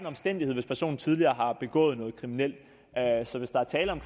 omstændighed hvis personen tidligere har begået noget kriminelt så hvis der er tale om